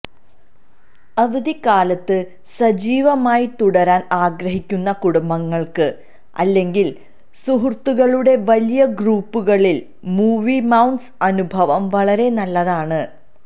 അവധിക്കാലത്ത് സജീവമായി തുടരാൻ ആഗ്രഹിക്കുന്ന കുടുംബങ്ങൾക്ക് അല്ലെങ്കിൽ സുഹൃത്തുക്കളുടെ വലിയ ഗ്രൂപ്പുകളിൽ മൂവി മൌണ്ട്സ് അനുഭവം വളരെ നല്ലതാണ്